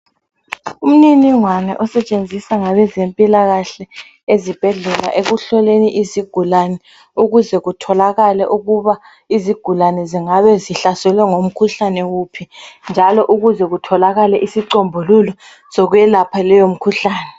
Umniningwana osetshenziswa ngabe zempilakahle ezibhedlela ekuhloleni izigulane ukuze kutholakale ukuba izigulane zingabe zihlaselwe umkhuhlane wuphi njalo ukuze kutholakale isicombululo sokwelapha leyo mkhuhlane.